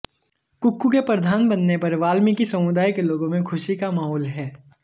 कुक्कू के प्रधान बनने पर वाल्मीकि समुदाय के लोगों में खुशी का माहौल है